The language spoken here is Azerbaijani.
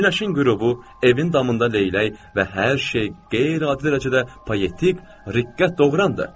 Günəşin qürubu, evin damında leylək və hər şey qeyri-adi dərəcədə poetik, riqqət doğurandır.